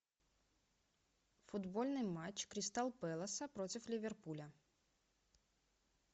футбольный матч кристал пэласа против ливерпуля